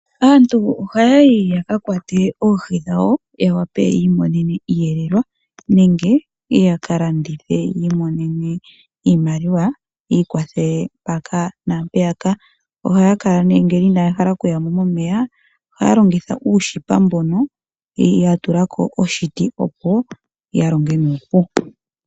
Aantu ohayi ya kakwate oohi dhawo ya wape yiimonene iiyelelwa nenge yakalandithe yiimonene iimaliwa yii kwathele mpaka naapeyaka. Ohaakala ne ngele inahala okuya momeya Ohaalongitha uushipa mbono yatulako oshiti opo yalonge nuupu.